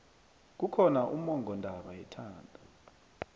kukhona ummongondaba yethando